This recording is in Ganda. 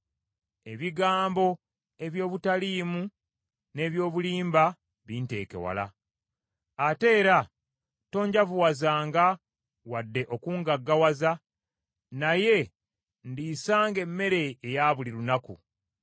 Ebigambo eby’obutaliimu n’eby’obulimba binteeke wala, ate era tonjavuwazanga wadde okungaggawaza, naye ndiisanga emmere eya buli lunaku.